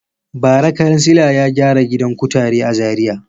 Bara kansila ya gyara gidan kutare a Zariya.